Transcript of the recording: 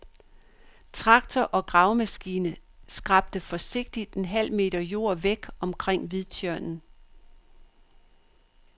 Traktor og gravemaskine skrabte forsigtigt en halv meter jord væk omkring hvidtjørnen.